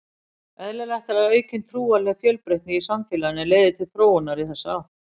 Eðlilegt er að aukin trúarleg fjölbreytni í samfélaginu leiði til þróunar í þessa átt.